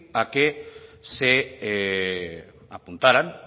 a que se apuntaran